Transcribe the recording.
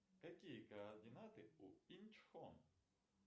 какие координаты у инчхон